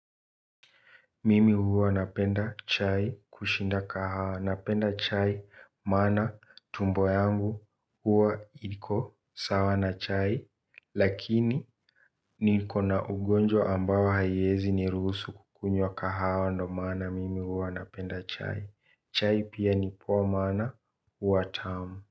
Mimi huwa napenda chai kushinda kahawa. Napenda chai maana tumbo yangu huwa liko sawa na chai lakini niko na ugonjwa ambao haiwezi niruhusu kukunywa kahawa ndio maana mimi huwa napenda chai. Chai pia ni poa maana huwa tamu.